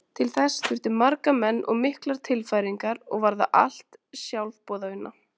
Til þess þurfti marga menn og miklar tilfæringar og var það allt sjálfboðavinna.